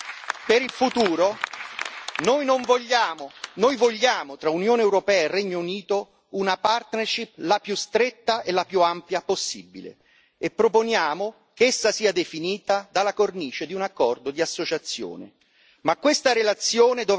In terzo luogo, per il futuro, noi vogliamo tra Unione europea e Regno Unito una partnership la più stretta e la più ampia possibile, e proponiamo che essa sia definita dalla cornice di un accordo di associazione.